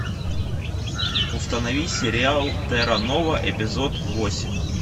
установи сериал терра нова эпизод восемь